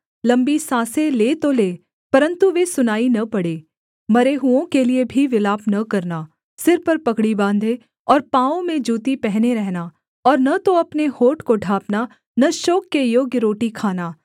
लम्बी साँसें ले तो ले परन्तु वे सुनाई न पड़ें मरे हुओं के लिये भी विलाप न करना सिर पर पगड़ी बाँधे और पाँवों में जूती पहने रहना और न तो अपने होंठ को ढाँपना न शोक के योग्य रोटी खाना